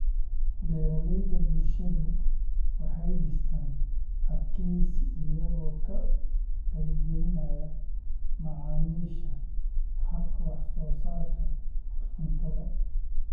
Beeraleyda bulshadu waxay dhistaan ??adkeysi iyagoo ka qayb-galinaya macaamiisha habka wax-soo-saarka cuntada.